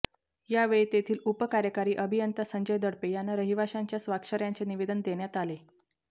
यावेळी तेथील उप कार्यकारी अभियंता संजय दडपे यांना रहिवाशांच्या स्वाक्षऱ्यांचे निवेदन देण्यात आले